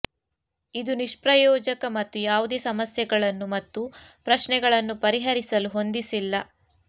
ಇದು ನಿಷ್ಪ್ರಯೋಜಕ ಮತ್ತು ಯಾವುದೇ ಸಮಸ್ಯೆಗಳನ್ನು ಮತ್ತು ಪ್ರಶ್ನೆಗಳನ್ನು ಪರಿಹರಿಸಲು ಹೊಂದಿಸಿಲ್ಲ